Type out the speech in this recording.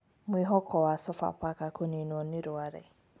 Mwihoko wa Sofapaka kũninũo nĩ Rware